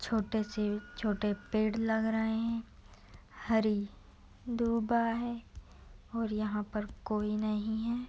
छोटे से छोटे पेड़ लग रहे है हरी दूबा है और यहाँ पर कोई नहीं है।